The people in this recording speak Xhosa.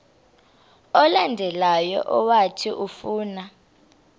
olandelayo owathi ufuna